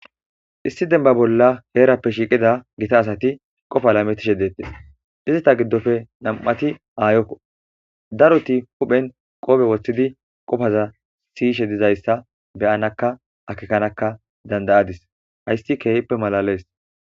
issi demba bolla heerappe shiiqida gita asati qofa lametishe deettes dizata giddofe nam7ati aayokko daroti huphen qoobe woththidi qofaza siyishe dizayssa beyanakka akekanaka dandayadis hayssi keehippe malalees